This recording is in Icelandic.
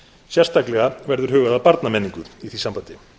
sérstaklega verður hugað að barnamenningu í því sambandi